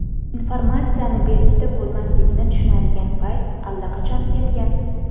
Informatsiyani berkitib bo‘lmaslikni tushunadigan payt allaqachon kelgan.